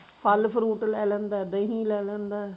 ਫਲ fruit ਲੈ ਲੈਂਦਾ ਦਹੀਂ ਲੈ ਲੈਂਦਾ